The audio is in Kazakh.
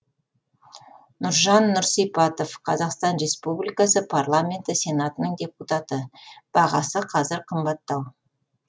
нұржан нұрсипатов қазақстан республикасы парламенті сенатының депутаты бағасы қазір қымбаттау